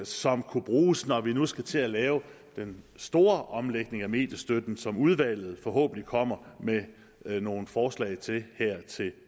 som kunne bruges når vi nu skal til at lave den store omlægning af mediestøtten som udvalget forhåbentlig kommer med nogle forslag til her til